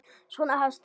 Svona hefst það